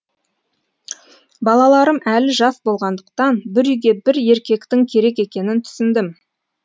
балаларым әлі жас болғандықтан бір үйге бір еркектің керек екенін түсіндім